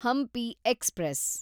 Hampi express